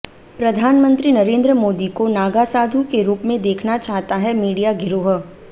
प्रधानमंत्री नरेंद्र मोदी को नागा साधु के रूप में देखना चाहता है मीडिया गिरोह